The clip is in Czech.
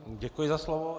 Děkuji za slovo.